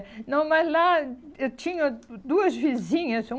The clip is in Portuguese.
Não, mas lá eu tinha duas vizinhas.